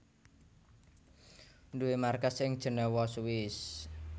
duwé markas ing Jenewa Swiss